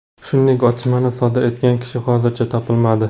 Shuningdek, otishmani sodir etgan kishi hozircha topilmadi.